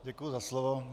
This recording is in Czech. Děkuji za slovo.